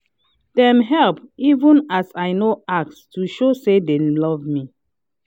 dem help even as i no ask to show say dem love me